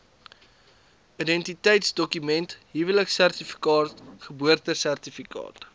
identiteitsdokument huweliksertifikaat geboortesertifikaat